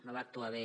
no va actuar bé